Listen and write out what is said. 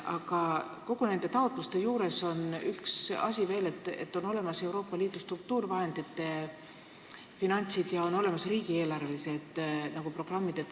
Aga nende taotluste puhul on üks asi veel: on olemas Euroopa Liidu struktuurivahendid ja riigieelarvelised programmid.